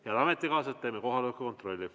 Head ametikaaslased, teeme kohaloleku kontrolli.